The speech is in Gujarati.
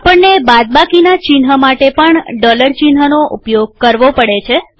આપણને બાદબાકીના ચિહ્ન માટે પણ ડોલર ચિહ્નનો ઉપયોગ કરવો પડે છે